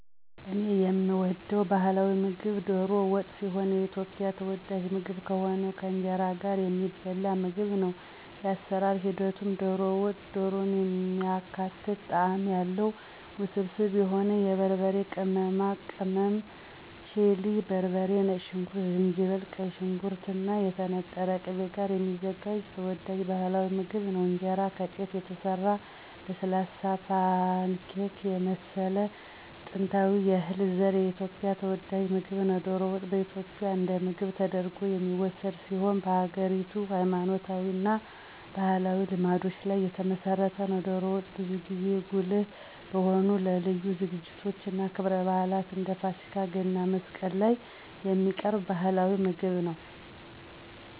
እኔ የምወደው ባህላዊ ምግብ ዶሮ ወጥ ሲሆን የኢትዮጵያ ተወዳጅ ምግብ ከሆነው ከእንጀራ ጋር የሚበላ ምግብ ነው። የአሰራር ሂደቱም - ዶሮ ወጥ - ዶሮን የሚያካትት ጣዕም ያለው፣ ውስብስብ የሆነ የበርበሬ ቅመማ ቅልቅል (ቺሊ በርበሬ፣ ነጭ ሽንኩርት፣ ዝንጅብል)፣ ቀይ ሽንኩርት እና የተነጠረ ቅቤ ጋር የሚዘጋጅ ተወዳጅ ባህላዊ ምግብ ነው። እንጀራ - ከጤፍ የተሰራ ለስላሳ፣ ፓንኬክ የመሰለ ጥንታዊ የእህል ዘር የኢትዮጵያ ተወዳጅ ምግብ ነው። ዶሮ ወጥ በኢትዮጵያ እንደ ምግብ ተደርጎ የሚወሰድ ሲሆን በሀገሪቱ ሃይማኖታዊ እና ባህላዊ ልማዶች ላይ የተመሰረተ ነው። ዶሮ ወጥ ብዙ ጊዜ ጉልህ በሆኑ ለልዩ ዝግጅቶች እና ክብረ በዓላት እንደ ፋሲካ፣ ገና፣ መስቀል ላይ የሚቀርብ ባህላዊ የበዓል ምግብ ነው።